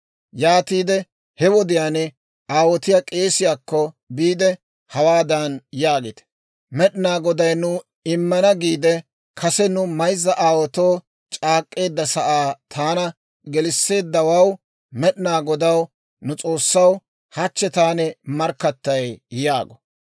Yaatiide he wodiyaan aawotiyaa k'eesiyaakko biide, hawaadan yaagite; ‹Med'inaa Goday nu immana giide kase nu mayzza aawaatoo c'aak'k'eedda sa'aa taana gelisseedda Med'inaa Godaw, nu S'oossaw, hachchi taani markkattay› yaago.